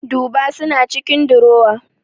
Duba suna cikin durowa